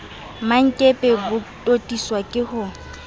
mmankepe bo totiswa ke ho